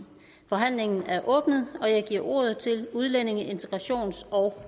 forhandlingen er åbnet og jeg giver ordet til udlændinge integrations og